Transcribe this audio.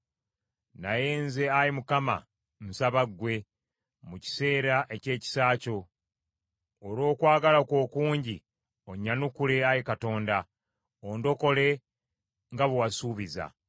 Naye nze, Ayi Mukama , nsaba ggwe, mu kiseera eky’ekisa kyo. Olw’okwagala kwo okungi, onnyanukule, Ayi Katonda, ondokole nga bwe wasuubiza.